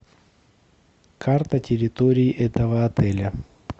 карта территории этого отеля